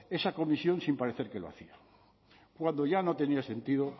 esa comisión sin parecer que lo hacían cuando ya no tenía sentido